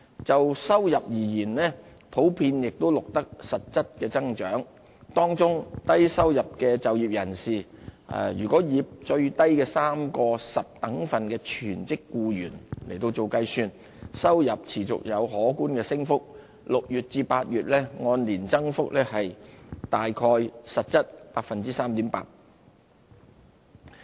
就收入而言，亦普遍錄得實質增長，當中低收入的就業人士，若以最低的3個十等分的全職僱員來計算，收入持續有可觀升幅 ，6 月至8月按年增幅大概實質是 3.8%。